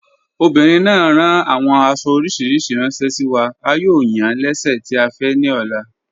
Obìnrin náà ràn awọn àṣo oríṣiríṣí ránṣẹ sí wa, à yóò yàn lẹ́sẹ̀ tì à fẹ́ ní ọ̀lá.